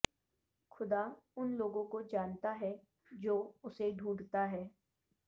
خدا ان لوگوں کو جانتا ہے جو اسے ڈھونڈتا ہے